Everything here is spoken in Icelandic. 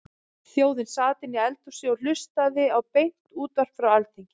Þjóðin sat inni í eldhúsi og hlustaði á beint útvarp frá Alþingi.